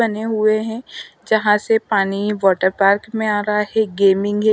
बने हुए हैं जहां से पानी वाटर पार्क में आ रहा हैं गेमिंग है।